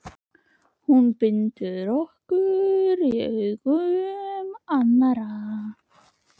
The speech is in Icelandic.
Hún bindur okkur í augum annarra.